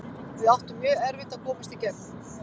Við áttum mjög erfitt að komast í gegn.